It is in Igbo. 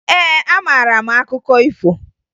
Ee, amara m akụkọ ifo